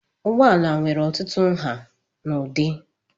Ụgbọala nwere ọtụtụ nha na ụdị.